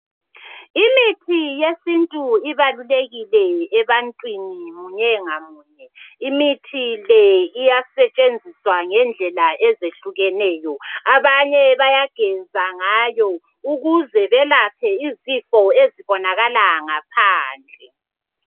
Imithi yesintu ibalulekile ebantwini munye ngamunye imithi le iyatshenziswa ngendlela ezehlukeneyo abanye bayageza ngayo ukuze belaphe izifo ezibonakala ngaphandle.